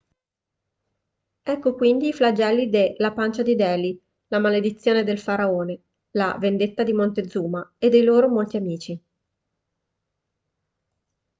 ecco quindi i flagelli de la pancia di delhi la maledizione del faraone la vendetta di montezuma e dei loro molti amici